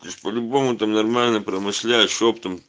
то есть по-любому там нормально промышляешь оптом